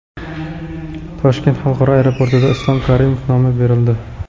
Toshkent xalqaro aeroportiga Islom Karimov nomi berildi .